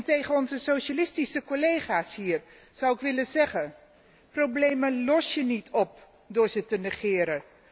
Tegen onze socialistische collega's hier zou ik willen zeggen Problemen los je niet op door ze te negeren.